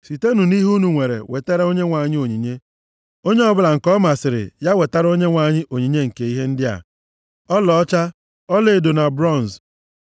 sitenụ nʼihe unu nwere wetara Onyenwe anyị onyinye. Onye ọbụla nke ọ masịrị, ya wetara Onyenwe anyị onyinye nke ihe ndị a: “Ọlaọcha, ọlaedo na bronz,